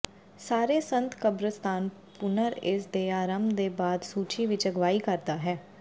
ਸਾਰੇ ਸੰਤ ਕਬਰਸਤਾਨ ਪੂਨਰ ਇਸ ਦੇ ਆਰੰਭ ਦੇ ਬਾਅਦ ਸੂਚੀ ਵਿੱਚ ਅਗਵਾਈ ਕਰਦਾ ਹੈ